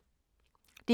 DR K